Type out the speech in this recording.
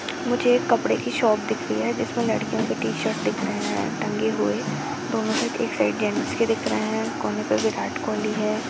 मुझे एक कपड़े की शॉप दिख रही है जिसमें लड़कियों के टी-शर्ट दिख रहे हैं टंगे हुए दोनों साइड एक साइड जींस के दिख रहे हैं कोने पे विराट कोहली है।